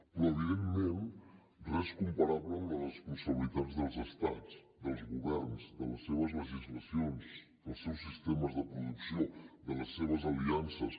però evidentment res comparable amb les responsabilitats dels estats dels governs de les seves legislacions dels seus sistemes de producció de les seves aliances